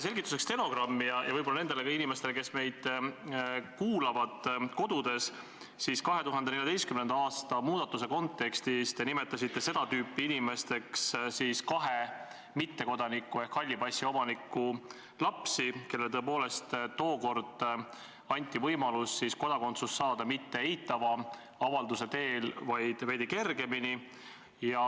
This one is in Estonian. Selgituseks stenogrammi tarbeks ja võib-olla ka nendele inimestele, kes meid kodudes kuulavad, siis 2014. aasta muudatuse kontekstis nimetasite te seda tüüpi inimesteks kahe mittekodaniku ehk halli passi omaniku lapsi, kellele tõepoolest tookord anti võimalus kodakondsus saada mitte eitava avalduse teel, vaid veidi kergemini.